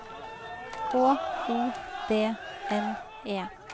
H O D N E